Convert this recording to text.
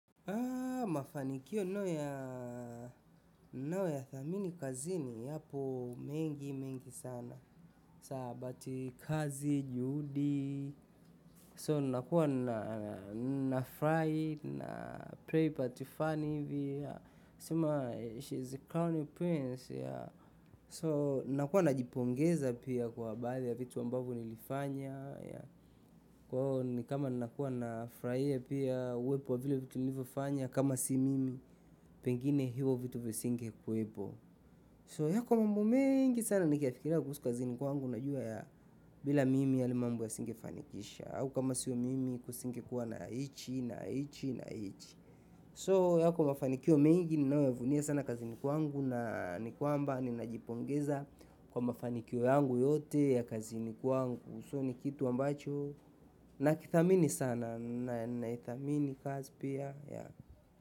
Mafanikio ninayo ya thamini kazini yapo mengi mengi sana, sabati kazi, juhudi, so nakuwa na furahi na pray part fani hivi, yaa sema she is a crowning prince yaa, so nakuwa na jipongeza pia kwa baadhi ya vitu ambavyo nilifanya, yaa, kwa hio ni kama nakuwa na furahia pia uwepo wa vile vitu nilivyofanya kama si mimi. Pengine hivyo vitu visinge kuwepo. So yako mambo mengi sana ni kiyafikiria kuhusu kazi kwangu. Najua ya bila mimi yale mambo yasinge fanikisha, au kama sio mimi kusinge kuwa na hichi, na hichi, na hichi. So yako mafanikio mengi ninayo yavunia sana kazi kwangu. Na ni kwamba, ninajipongeza kwa mafanikio yangu yote ya kazini kwangu. So ni kitu ambacho. Nakithamini sana, na ninaithamini kazi pia.